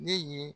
Ne ye